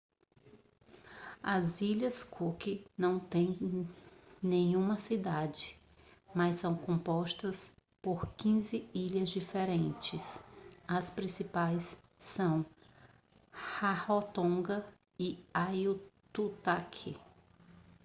as ilhas cook não têm nenhuma cidade mas são compostas por 15 ilhas diferentes as principais são rarotonga e aitutaki